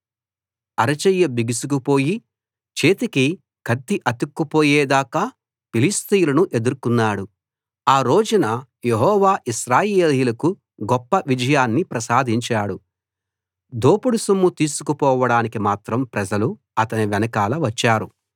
అరచెయ్యి బిగుసుకు పోయి చేతికి కత్తి అతుక్కుపోయే దాకా ఫిలిష్తీయులను ఎదుర్కొన్నాడు ఆ రోజున యెహోవా ఇశ్రాయేలీయులకు గొప్ప విజయాన్ని ప్రసాదించాడు దోపుడు సొమ్ము తీసుకుపోవడానికి మాత్రం ప్రజలు అతని వెనకాల వచ్చారు